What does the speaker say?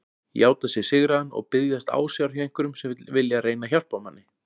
Játa sig sigraðan og biðjast ásjár hjá einhverjum sem vilja reyna að hjálpa manni.